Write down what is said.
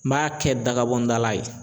N b'a kɛ dagabɔn dala ye.